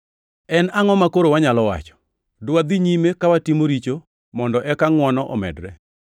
En angʼo makoro wanyalo wacho? Dwadhi nyime ka watimo richo mondo eka ngʼwono omedre?